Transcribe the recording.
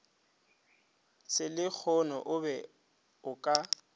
selehono o be o ka